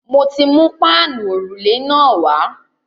Mo ti mú páànù òrùlé náà wá.